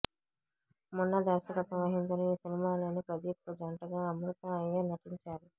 మున్నా దర్శకత్వం వహించిన ఈ సినిమాలో ప్రదీప్కు జంటగా అమృతా అయ్యర్ నటించారు